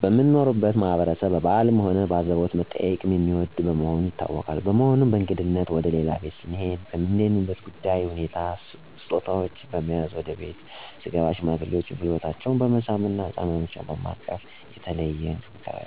የምኖርበት ማህበረሰብ በበአልም ሆነ በአዘቦት መጠያየቅን የሚወድ መሆኑ ይታወቃል። በመሆኑም በእንግድነት ወደ ሌላ ቤት ስሄድ እንደምሄድበት ጉዳይ ሁኔታ ስጦታወችን በመያዝ ወደ ቤት ስገባ ሽማግሌዎችን ጉልበታቸውን በመሳም፣ ህጻናትና በማቀፍ ፍቅሬን ለመግለጽ እሞክራለሁ። በተጨማሪም ስለ ቤተሰባቸው፣ ስለ ስራ ሁኔታቸው እንዲሁም ሰለ ገጠማቸው ሁኔታ በመነጋገር አጫዉታቸዋለሁ። በእኔም በኩል ችግር ከገጠመኝ በተመሳሳይ መልኩ ሃሳብ እንዲያካፍሉኝ በማድረግ ወዳጅነታችንን አሳያለሁ።